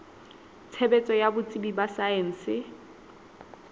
tshebetso ya botsebi ba saense